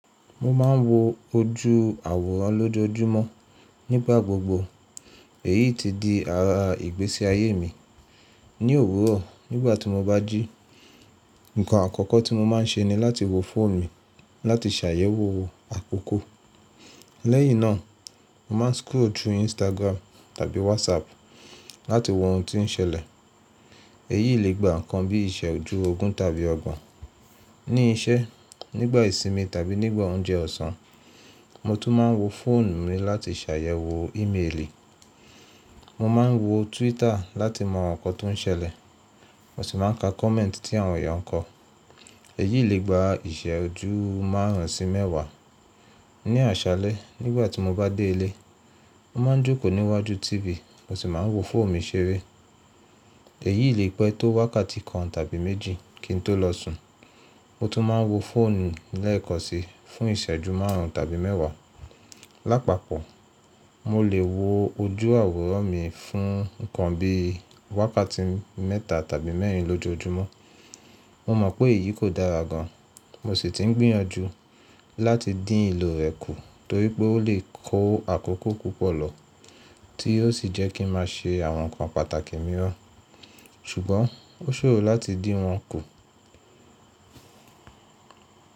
Mo ma ń wo ojú àwòrán lójoojúmọ́ nígbà gbogbo. Èyí ti di ara ìgbési ayé mi. Ní òwúrò, nígbà tí mo bá jí, nǹkan àkọ́kọ́ tí mo máa ń ṣe ni láti wo fóònù mi láti ṣàyẹ̀wò àkókó. Lẹ́yìín náà, mo máa ń scroll through Instagram tàbí WhatsApp láti wo ohun tí ń ṣẹlẹ̀. Èyí lè gba nǹkan bí i ìṣẹ́jú ogún tàbí ọgbon. Ní iṣẹ́, nígbà ìsinmi tàbí nígbà oúnjẹ ọ̀sán, mo tún máa ń wo fóònù mi láti ṣàyẹ̀wò íméèlì. Mo máa ń wo Twitter láti mọ ohun awonkan tó ń ṣẹlẹ̀, mo sì máa ń ka kọ̀mẹ́ẹ̀tì ti àwọn eyànkọ́. Èyí lè gba ìṣẹ́jú márùn-ún sí mẹ́wàá. Ní àṣálẹ́, nígbà tí mo bá dé ilé, mo máa ń jókòó níwájú tv, mo sì máa ń wo fóònù mi ṣeré. Èyí lè pẹ́ tó wákàtí kan tàbí méjì kí n tó lọ sùn. Mo tún máa ń wo fóònù lẹ́ẹ̀kansí fún ìṣẹ́jú márùn-ún tàbí mẹ́wàá. Lápapọ̀, mo lè wo ojú àwòrán mi fún nǹkan bí i wákàtí mẹ́ta tàbí mẹ́rìn lójoojúmọ́. Mo mọ̀ pé èyí kò dára gan-an, mo sì ti ń gbìyànjú láti dín ìlò rẹ̀ kù torí pé ó lè kó àkókó púpọ̀ lọ tí yóò sì jẹ́ kí n máa ṣe àwọn nǹkan pàtàkì míran. Sùgbọ́n, ó ṣòro láti dín wọn kù.